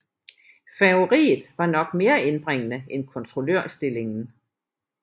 Færgeriet var nok mere indbringende end kontrollørstillingen